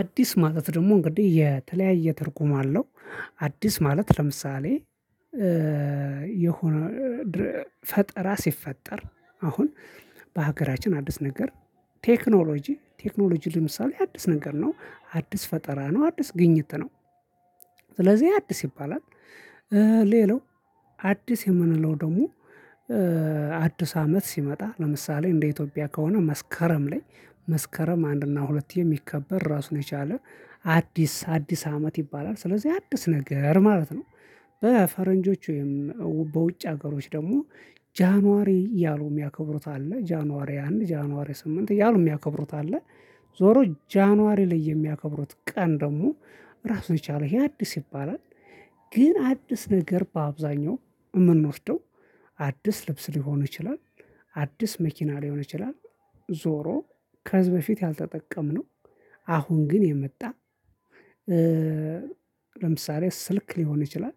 አዲስ ማለት ደግሞ እንግዲህ የተለያየ ትርጉም አለው። አዲስ ማለት ለምሳሌ የሆነ ፈጠራ ሲፈጠር አሁን በሀገራችን አዲስ ነገር ቴክኖሎጂ ቴክኖሎጂ ለምሳሌ አዲስ ነገር ነው አዲስ ፈጠራ ነው አዲስ ግኝት ነው። ስለዚህ አዲስ ይባላል። ሌላው አዲስ የምንለው ደግሞ አዲስ አመት ሲመጣ ለምሳሌ እንደ ኢትዮጵያ ከሆነ መስከረም ላይ መስከረም አንድ እና ሁለት የሚከበር ራሱን የቻለ አዲስ አዲስ አመት ይባላል። ስለዚህ አዲስ ነገር ማለት ነው። በፈረንጆቹ ወይም በውጭ ሀገሮች ደግሞ ጃንዋሪ እያሉ የሚያከብሩት አለ ጃንዋሪ አንድ ጃንዋሪ ስምንት እያሉ የሚያከብሩት አለ። ዞሮ ጃንዋሪ ላይ የሚያከብሩት ቀን ደግሞ ራሱን የቻለ አዲስ ይባላል። ግን አዲስ ነገር በአብዛኛው የምንወስደው አዲስ ልብስ ሊሆን ይችላል። አዲስ መኪና ሊሆን ይችላል። ዞሮ ከህዝብ በፊት ያልተጠቀምነው አሁን ግን የመጣ ለምሳሌ ስልክ ሊሆን ይችላል።